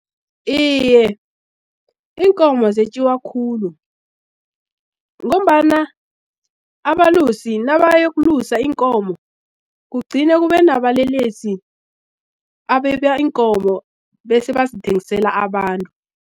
Iye, iinkomo zetjiwa khulu, ngombana abalusi nabayokulusa iinkomo kugcine kube nabalelesi abeba iinkomo bese bazithengisela abantu.